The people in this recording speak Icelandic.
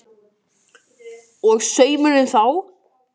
Og saumurinn þá?